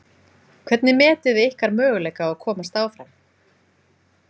Hvernig metið þið ykkar möguleika á að komast áfram?